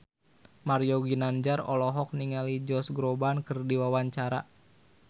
Mario Ginanjar olohok ningali Josh Groban keur diwawancara